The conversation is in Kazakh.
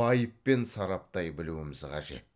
байыппен сараптай білуіміз қажет